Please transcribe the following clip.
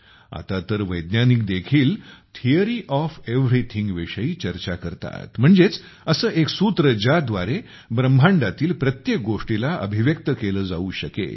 आता तर वैज्ञानिक देखील थियोरी ओएफ एव्हरीथिंग विषयी चर्चा करतात म्हणजेच असे एक सूत्र ज्या द्वारे ब्रह्मांडातील प्रत्येक गोष्टीला अभिव्यक्त केले जाऊ शकेल